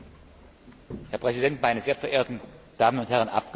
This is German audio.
Herr Präsident, meine sehr verehrten Damen und Herren Abgeordnete!